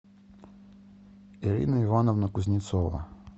ирина ивановна кузнецова